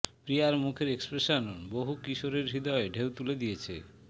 প্রিয়ার মুখের এক্সপ্রেশন বহু কিশোরের হৃদয়ে ঢেউ তুলে দিয়েছে